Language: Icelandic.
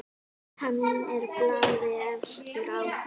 Hann er blaði efstur á.